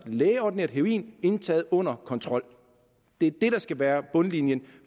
lægeordineret heroin indtaget under kontrol er det der skal være bundlinjen